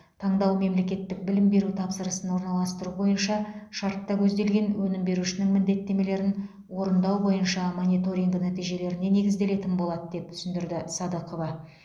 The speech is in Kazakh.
таңдау мемлекеттік білім беру тапсырысын орналастыру бойынша шартта көзделген өнім берушінің міндеттемелерін орындау бойынша мониторинг нәтижелеріне негізделетін болады деп түсіндірді садықова